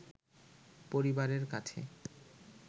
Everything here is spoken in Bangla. পরিবারের কাছে